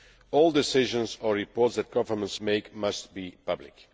All decisions and reports that governments make must be public.